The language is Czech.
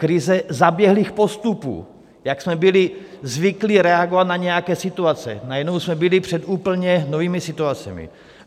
Krize zaběhlých postupů, jak jsme byli zvyklí reagovat na nějaké situace - najednou jsme byli před úplně novými situacemi.